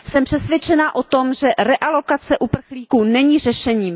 Jsem přesvědčena o tom, že realokace uprchlíků není řešením.